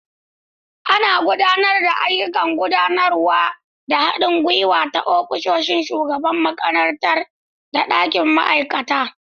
Ana gudanar da ayyukan gudanarwa da haɗin gwiwa ta ofishin shugaban makarantar da ɗakin ma'aikata.